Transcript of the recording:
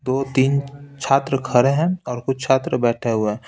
दो तीन छात्र खड़े हैं और कुछ छात्र बैठे हुए हैं।